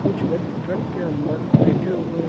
कुछ व्यक्ति ट्रक के अंदर बैठे हुए हैं।